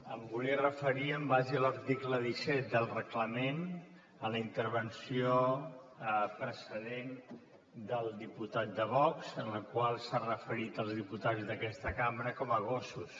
em volia referir en base a l’article disset del reglament a la intervenció precedent del diputat de vox en la qual s’ha referit als diputats d’aquesta cambra com a gossos